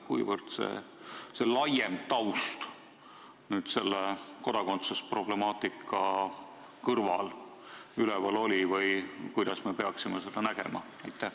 Kuivõrd oli see laiem taust kodakondsusproblemaatika kõrval üleval või kuidas me peaksime seda nägema?